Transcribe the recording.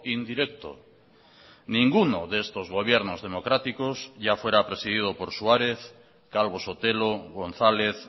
indirecto ninguno de estos gobiernos democráticos ya fuera presidido por suárez calvo sotelo gonzález